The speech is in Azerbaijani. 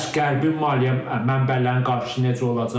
Bəs Qərbin maliyyə mənbələrinin qarşısı necə olacaq?